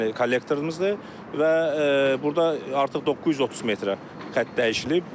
Yəni kollektorumuzdur və burda artıq 930 metrə xətt dəyişdirilib.